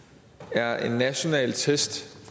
er en national test